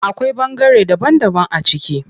Akwai ɓangare daban daban a ciki.